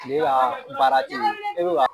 Kile ka baara tɛ o ye e bɛ ka